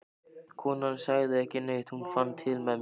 Konan sagði ekki neitt, en hún fann til með mér.